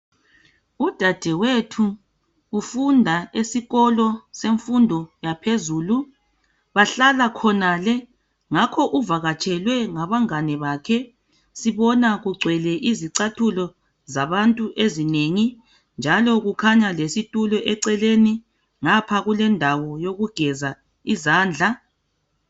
Udadewethu ufunda esikolo semfundo yaphezulu bahlala khonale ngakho uvakatshelwe ngabangane bakhe sibona kugcwele izicathulo zabantu ezinengi njalo kukhanya lesitulo eceleni ngapha kulendawo yokugeza izandla.